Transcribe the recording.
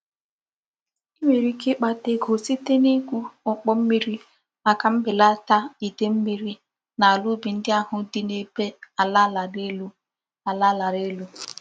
I nwere ike ikpata ego site nigwu okpo mmiri maka mbelata Ide mmiri n'ala ubi ndi ahu di n'ebe ala lara elu. ala lara elu.